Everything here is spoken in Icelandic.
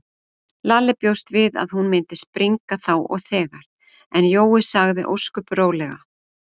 Lalli bjóst við að hún myndi springa þá og þegar, en Jói sagði ósköp rólega